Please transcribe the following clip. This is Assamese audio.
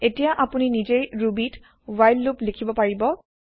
এতিয়া আপুনি নিজেই ৰুবি ত হোৱাইল লুপ লিখিব পাৰিব